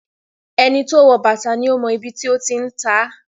Ẹni to wọ̀ bàtà ni ó mọ ibi tí ó ti ń tá.